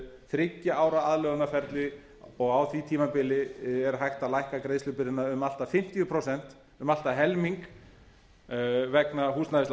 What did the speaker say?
þriggja ára aðlögunarferli og á því tímabili er hægt að lækka greiðslubyrðina um allt að fimmtíu prósent um allt að helming